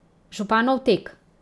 Županov tek.